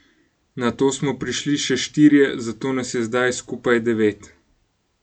Nato smo prišli še štirje, zato nas je zdaj skupaj devet.